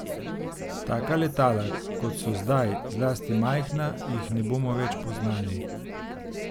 Taka letala, kot so zdaj, zlasti majhna, jih ne bomo več poznali.